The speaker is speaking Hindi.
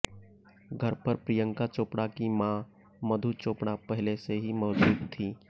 घर पर प्रियंका चोपड़ा की मां मधु चोपड़ा पहले से ही मौजूद थीं